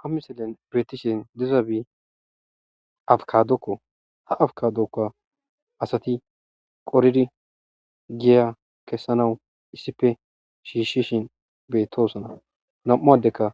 Ha misulen beetishe dizaysi abukadoko,Ha abukadozaka asati qoridi giya kessanaw issipe shiishishin beetosona. Nam'u addeyka